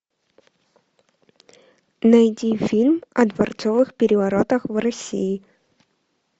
найди фильм о дворцовых переворотах в россии